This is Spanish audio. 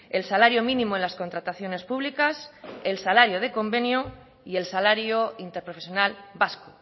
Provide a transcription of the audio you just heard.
el salario mínimo en las contrataciones públicas el salario de convenio y el salario interprofesional vasco